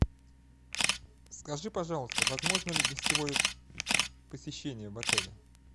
скажи пожалуйста возможно ли гостевое посещение в отеле